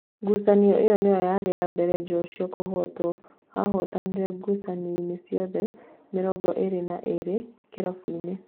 Ngucanio ĩyo nĩyo ya mbere Njoshua kũhotwo, ahootanĩte ngucanio ciothe mĩrongo ĩrĩ na ĩrĩ kĩrabuinĩ.